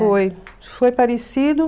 Foi, isso foi parecido.